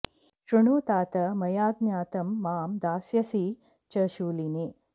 श्रृणु तात मया ज्ञातं मां दास्यसि च शूलिने